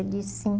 Ele disse sim.